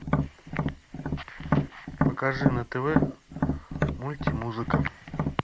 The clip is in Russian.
покажи на тв мультимузыка